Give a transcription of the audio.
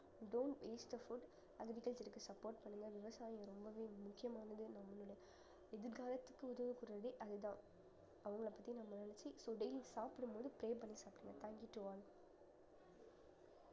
don't waste the food agriculture க்கு support பண்ணுங்க விவசாயம் ரொம்பவே முக்கியமானது நம்மளுடைய எதிர்காலத்துக்கு உதவ போறதே அதுதான் அவங்களைப் பத்தி நம்ம நினைச்சு so daily சாப்பிடும்போது pray பண்ணி சாப்பிடுங்க thank you to all